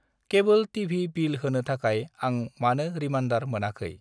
केबोल TV. Bill होनो थाखाय आं मानो रिमारन्डार मोनाखै?